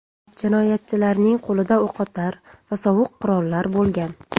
Jinoyatchilarning qo‘lida o‘qotar va sovuq qurollar bo‘lgan.